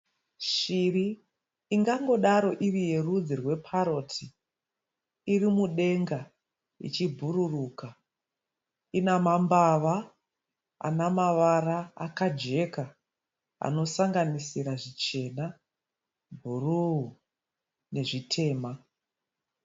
Shiri ingangodaro iriyerudzi rweparoti irimudenga ichibhururuka inamambava anamavara akajeka anosanganisira zvichena bhuru nezvitema.